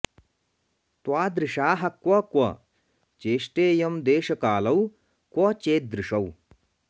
त्वा दृशाः क्व क्व चेष्टेयं देशकालौ क्व चेदृशौ